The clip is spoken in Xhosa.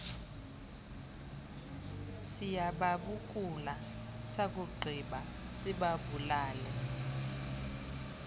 siyababukula sakugqiba sibabulale